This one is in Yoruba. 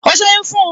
O seyun fun un